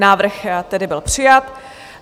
Návrh tedy byl přijat.